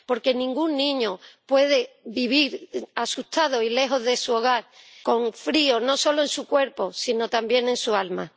Porque ningún niño puede vivir asustado y lejos de su hogar, con frío, no solo en su cuerpo, sino también en su alma.